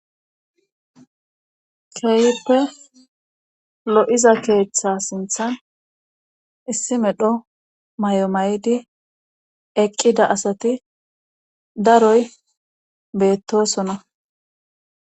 keeyippe lo7iza keeththa sinthan issi medho may7o may7di eqqida asati daroy beettosona